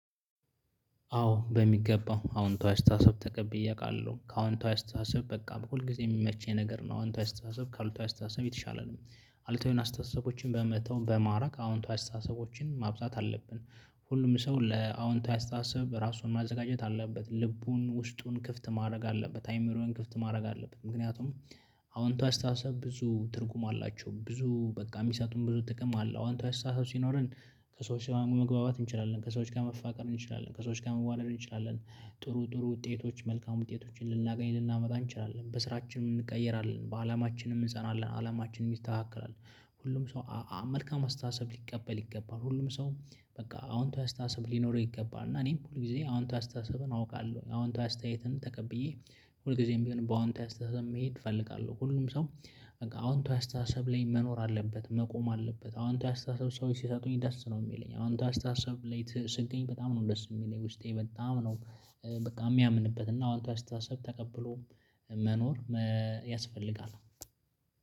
አዎ በሚገባው አዎንታዊ አስተታሰብ ተቀብዬ አውቃለሁ ከአዎንት አስተሳስብ በቃ በሁልጊዜም የሚመች ነገር ነው አውንቷ አስተሳስብ አልቷ አስተሳስብ የተሻለ ነው። አሉታዊ የሆነ አስተሳሰቦችን በመተው በማራቅ አዎንታዊ አስተሳሰቦችን ማብዛት አለብን። ሁሉም ሰው ለአዎንታዊ አስተሳሰብ በራሱን ማዘጋጀት አለበት ልቡን ውስጡን ክፍት ማድረግ አለበት አይምሮውን ክፍት ማድረግ አለበት። ምክንያቱም አወንታዊ አስተሳሰብ ብዙ ትርጉም አላቸው ብዙ በቃ የሚሰጡን ብዙ ጥቅም አለው አወንታዊ አስተሳሰብ ሲኖረን። ከሰዎች መግባባት እንችላለን ከሰዎች ጋር መፋቀር እንችላለን ከሰዎች ጋር መዋለድ እንችላለን። ጥሩ ጥሩ ውጤቶች መልካም ውጤቶችን ልናገኝ ልናመጣ እንችላለን በስራችንም እንቀየራለን በአላማችንም እንጸናለን አላማችንም ይስተካከላል። ሁሉም ሰው መልካም አስተሳሰብ ሊቀበል ይገባል ሁሉም ሰው። በቃ አወንታዊ አስተሳሰብ ሊኖረህ ይገባል እና እኔም ሁል ጊዜ አወንታዊ አስተሳሰብን አውቃለሁ አወንታዊ አስተያየትን ተቀብዬ። ሁልጊዜም ቢሆን በአወንታዊ አስተሳሰብ መሄድ እፈልጋለሁ ሁሉም ሰው። አወንታዊ አስተሳሰብ ላይ መኖር አለበት መቆም አለበት። አወንታዊ አስተሳሰብ ሰዎች ሲሰጡኝ ደስ ነው የሚለኝ አወንታዊ አስተሳሰብ ስገኝ በጣም ነው ደስ የሚለኝ ውስጤ በጣም ነው። በቃ የሚያምንበት እና አወንታዊ አስተሳሰብ ተቀብሎ መኖር ያስፈልጋል።